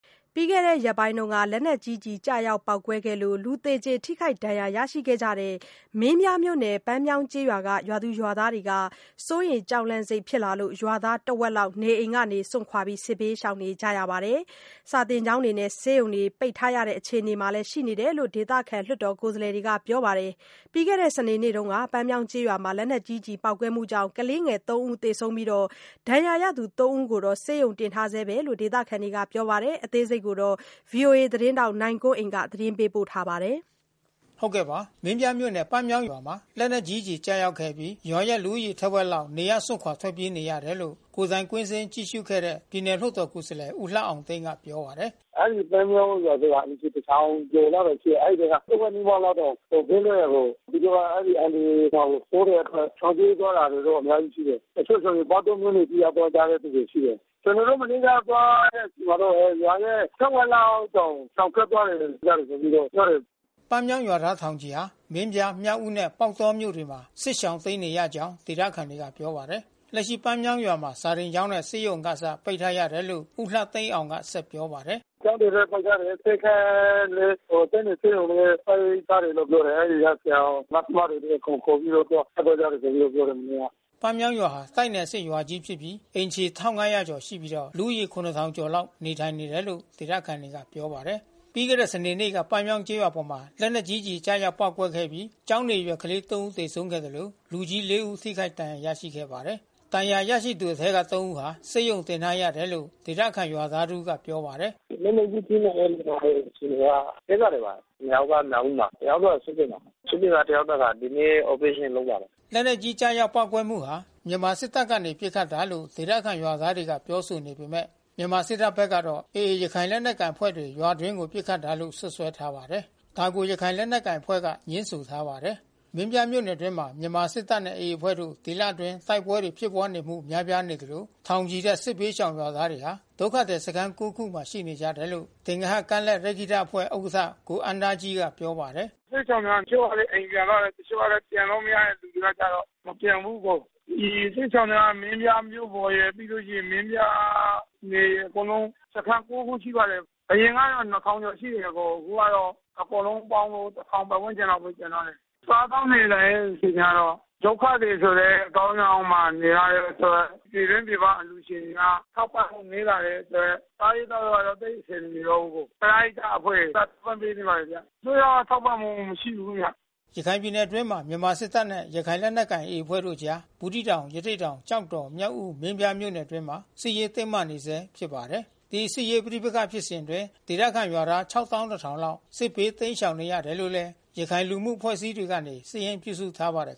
ပြီးခဲ့တဲ့ရက်ပိုင်းက လက်နက်ကြီးကျည်ကျရောက်ပေါက်ကွဲခဲ့လို့ လူသေကြေထိခိုက်ဒဏ်ရာရရှိခဲ့တဲ့ မင်းပြားမြို့နယ် ပန်းမြောင်းကျေးရွာကရွာသားတွေဟာ စိုးရိမ်ကြောက်လန့်စိတ်နဲ့ ရွာသားတဝက်လောက် နေအိမ်ကနေစွန့်ခွါ စစ်ဘေး ရှောင်နေရပြီး စာသင်ကျောင်း ဆေးရုံတွေပိတ်ထားရတဲ့ အခြေအနေ ရှိနေတယ်လို့ ဒေသခံလွှတ်တော်ကိုယ်စားလှယ် တွေက ပြောပါတယ်။ ပြီးခဲ့တဲ့စနေနေ့က လက်နက်ကြီးကျည်ပေါက်ကွဲမှုကြောင့်ကလေး သုံး ဦးသေဆုံးပြီး ဒဏ်ရာရသူသုံးဦးကို တော့ ဆေးရုံတင်ထားဆဲလို့ ဒေသခံတွေကပြောပါတယ်။ ဒီအခြေအနေကို ဗွီအိုအေသတင်းထောက် နိုင်ကွန်းအိန်ကနေ ဆက်သွယ်မေးမြန်းသတင်းပို့ထားပါတယ်။ မင်းပြားမြို့နယ် ပန်းမြောင်းရွာမှာ လက်နက်ကြီးကျည် ကျရောက်ခဲ့အပြီး ရွာရဲ့ လူဦးရေထက်ဝက်လောက် နေရပ်စွန့်ခွါ ထွက်ပြေးနေရတယ်လို့ ကိုယ်တိုင် ကွင်းဆင်းကြည့်ရှုခဲ့တဲ့ ပြည်နယ်လွှတ်တော်ကိုယ်စားလှယ် ဦးလှသိန်းအောင်က ပြောပါတယ်။ “အဲဒီပန်းမြောင်းရွာဆိုတာ အိမ်ခြေ တထောင်ကျော်လောက်တောင် ရှိတယ်။ အဲဒီဘက်က တဝက်နီးပါးလောက်က ဘေးလွတ်ရာကို သူတို့က အဲဒီအန္တရာယ်တာကိုစိုးတဲ့အတွက် ရှောင်ပြေးသွားတာတွေတော့ အများရှိရှိတယ်။ တချို့ဆိုပေါက် တောမြို့နယ်အထိ ရောက်သွားကြတဲ့ သူတွေ ရှိတယ်။ ကျနော်တို့ မနေ့ကသွားတဲ့အချိန်မှာတော့ ရွာရဲ့ ထက်ဝက်လောက်တောင် ရှောင်ထွက်သွားတယ်ကြတယ်ဆိုပြီးတော့ ပြောတယ်။” ပန်းမြောင်းရွာသားထောင်ချီဟာ မင်းပြား၊ မြောက်ဦးနဲ့ ပေါက်တောမြို့တွေမှာ စစ်ရှောင်တိမ်း နေရကြောင်း ဒေသခံတွေက ပြောပါတယ်။ လက်ရှိပန်းမြောင်းရွာမှာ စာသင်ကျောင်းနဲ့ ဆေးရုံကအစ ပိတ်ထားတယ်လို့ ဦးလှသိန်းအောင်က ဆက်ပြောပါတယ်။ “ကျောင်းတွေလည်း ပိတ်ထားတယ်။ ဆေးခန်းလည်း တိုက်နယ်ဆေးရုံလည်း ပိတ်ထားတယ်လို့ ပြောတယ်။ အဲဒီက ဆရာ၊ နပ်စ်မတွေလည်း အကုန်ခေါ်ပြီးတော့ ထွက်သွားကြတယ်ဆိုပြီးတော့ ပြောတယ်။” ပန်းမြောင်းရွာဟာ တိုက်နယ်အဆင့် ရွာကြီးဖြစ်ပြီး အိမ်ခြေ ၁၅၀၀ ကျော်ရှိပြီးတော့ လူဦးရေ ၇၀၀၀ ကျော်လောက် နေထိုင်နေတယ်လို့ ဒေသခံတွေက ပြောပါတယ်။ ပြီးခဲ့တဲ့စနေနေ့တုန်းက ပန်းမြောင်းကျေးရွာအပေါ် လက်နက်ကြီးကျည်ကျရောက်ပေါက်ကွဲခဲ့ပြီး ကျောင်းနေအရွယ် ကလေး သုံး ဦး သေဆုံးခဲ့သလို လူကြီး လေး ဦး ထိခိုက် ဒဏ်ရာရရှိခဲ့ပါတယ်။ ဒဏ်ရာရရှိသူအထဲက သုံး ဦးဟာ ဆေးရုံတင်ထားရတယ်လို့ ဒေသခံရွာသား တဦးက ပြောပါတယ်။ “လက်နက်ကြီး ထိမှန်တဲ့လူနာရဲ့ အခြေအနေက သက်သာနေပါတယ်။ နှစ်ယောက်က မြောက်ဦးမှာ။ တယောက်က စစ်တွေမှာ။ စစ်တွေမှာ တယောက်က ဒီနေ့ အော်ပရေးရှင်း လုပ်ပါတယ်။” လက်နက်ကြီး ကျရောက်ပေါက်ကွဲမှုဟာ မြန်မာစစ်တပ်ကနေ ပစ်ခတ်တာလို့ ဒေသခံရွာသားတွေကပြောဆိုနေပေမဲ့ မြန်မာစစ်တပ်ဖက်ကတော့ AA ရခိုင်လက်နက်ကိုင်အဖွဲ့တွေ ရွာတွင်းကို ပစ်ခတ်တာလို့ စွပ်စွဲထားပါတယ်။ ဒါကို ရခိုင် လက်နက်ကိုင်အဖွဲ့က ငြင်းဆိုထားပါတယ်။ မင်းပြားမြို့နယ်အတွင်းမှာ မြန်မာစစ်တပ်နဲ့ AA အဖွဲ့တို့ ဒီလအတွင်းတိုက်ပွဲတွေ ဖြစ်ပွါးနေမှု များပြားနေသလို ထောင်ချီတဲ့ စစ်ဘေးရှောင်ရွာသားတွေဟာ ဒုက္ခသည်စခန်း ကိုး ခုမှာ ရှိနေတယ်လို့ သင်္ဂဟကမ်းလက်ရက္ခိတအဖွဲ့ ဥက္ကဋ္ဌ ကိုအမ်း သားကြီးက ပြောပါတယ်။ “စစ်ရှောင်တွေက တချို့အိမ်ပြန်သွားတယ်။ ပြန်လို့မရတဲ့ သူတွေကကျတော့ မပြန်ဘူး။ ဒီစစ်ရှောင်တွေက မင်းပြားမြို့ပေါ်ရယ် မင်းပြားနယ်ရယ်အငု်လုံး စခန်း ကိုး ခု ရှိပါတယ်။ အရင်ကတော့ ၂,၀၀၀ ကျော်ရှိတယ်။ အခုကတော့ အကုန်လုံး ပေါင်းတော့ ၁,၀၀၀ ပတ်ဝန်းကျင်လောက်ပဲ ကျန်တော့တယ်။ စားသောက်နေထိုင်ရေး အခြေအနေကတော့ ဒုက္ခသည် ဆိုတဲ့အဆောင်ယောင်မှာ နေရတဲ့အတွက် ပြည်တွင်းပြည်ပအလှူရှင်တွေက ထောက်ပံ့မှုနည်း လာတဲ့အတွက် စားရေး သောက်ရေးကလည်း သိပ်အဆင်မပြေတော့ဘူး။ ပရဟိတအဖွဲ့တွေက ထောက်ပံ့ပေးနေပါတယ်ဗျ။ အစိုးရက ထောက်ပံ့မှုမရှိဘူးခင်ဗျ။” ရခိုင်ပြည်နယ်အတွင်းမှာ မြန်မာစစ်တပ်နဲ့ ရခိုင်လက်နက်ကိုင် AA အဖွဲ့တို့အကြား ဘူးသီးတောင် ရသေ့တောင် ကျောက်တော် မြောက်ဦး မင်းပြားမြို့နယ်တွေဘက်မှာ စစ်ရေးတင်းမာနေဆဲ ဖြစ်ပါတယ်။ ဒီလိုစစ်ရေးပဋိပက္ခဖြစ်စဉ်အတွင်း ဒေသခံရွာသား ၆၁,၀၀၀ လောက် စစ်ဘေးတိမ်းရှောင်နေရတယ်လို့ ရခိုင်လူမှု အဖွဲ့အစည်းတွေက စာရင်းပြုစုထားပါတယ်